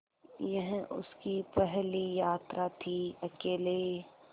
यह उसकी पहली यात्रा थीअकेले